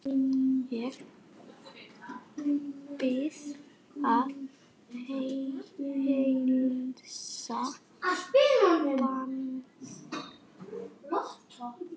Ég bið að heilsa Manga!